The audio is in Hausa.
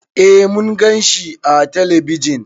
Eh Mun gan shi ã telebijin.